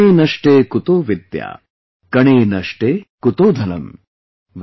Kshane Nashte Kuto Vidya, Kane Nashte Kuto Dhanam ||